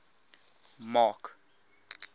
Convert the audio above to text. mark